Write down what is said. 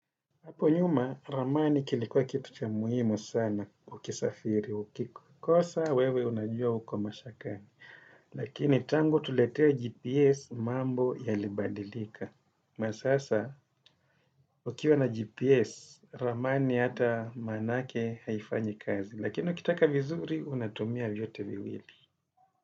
Hapo nyuma, ramani kilikuwa kitu cha muhimu sana ukisafiri, ukikosa, wewe unajua uko mashakani. Lakini tangu tuletewe GPS mambo yalibadilika. Kwa sasa, ukiwa na GPS, ramani hata maanake haifanyi kazi. Lakini ukitaka vizuri, unatumia vyote viwili.